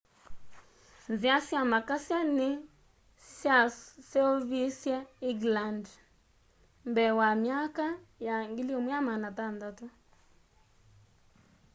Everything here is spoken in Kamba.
nzia sya makasya ni syaseoviswe england mbee wa myaka ya 1600